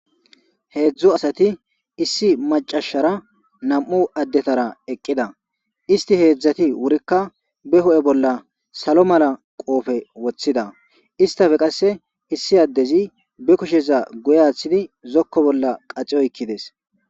Heedzdzo asati issi macashara nam7u addetara eqqida isti heedzdzati wurikka be ho7e bolla salo mala qoofe woththida istafe qasse issi addezi be kusheza guye aaththidi zokko bolla qaciyoykides.